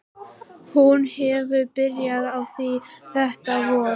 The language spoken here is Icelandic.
Hún hefur byrjað á því þetta vor.